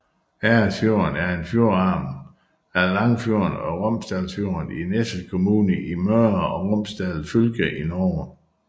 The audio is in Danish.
Eresfjorden er en fjordarm af Langfjorden og Romsdalsfjorden i Nesset kommune i Møre og Romsdal fylke i Norge